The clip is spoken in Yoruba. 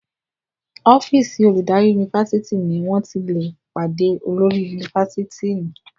ọ́fíìsì oludari Yunifásitìni wón tí lẹ pàdé olórí Yunifásitìni